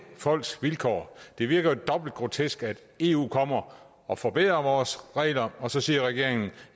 folks vilkår det virker jo dobbelt grotesk at eu kommer og forbedrer vores regler og så siger regeringen